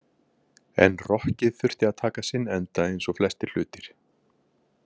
En rokkið þurfti að taka sinn enda eins og flestir hlutir.